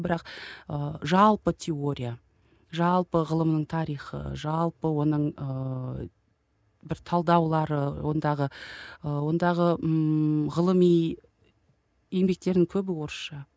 бірақ ы жалпы теория жалпы ғылымның тарихы жалпы оның ыыы бір талдаулары ондағы ы ондағы ыыы ғылыми еңбектердің көбі орысша